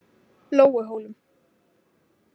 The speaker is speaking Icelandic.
Lóuhólum